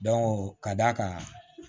ka d'a kan